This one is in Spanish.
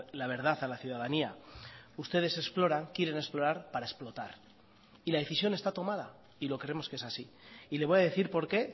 la verdad a la ciudadanía ustedes exploran quieren explorar para explotar y la decisión está tomada y lo creemos que es así y le voy a decir por qué